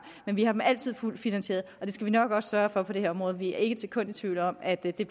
men vi har dem altid fuldt finansieret og det skal vi nok også sørge for på det her område vi er ikke et sekund i tvivl om at det